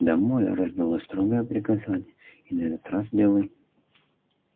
домой раздалось строгое приказание и на этот раз белый